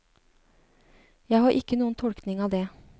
Jeg har ikke noen tolkning av det.